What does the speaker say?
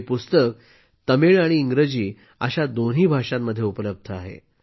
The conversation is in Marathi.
हे पुस्तक तमिळ आणि इंग्रजी दोन्ही भाषांमध्ये उपलब्ध आहे